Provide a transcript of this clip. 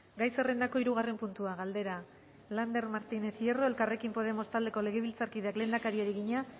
gai zerrendako hirugarren puntua galdera lander martínez hierro elkarrekin podemos taldeko legebiltzarkideak lehendakariari egina